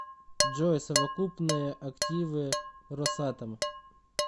джой совокупные активы росатом